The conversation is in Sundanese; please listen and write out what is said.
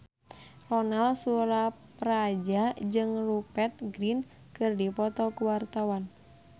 Ronal Surapradja jeung Rupert Grin keur dipoto ku wartawan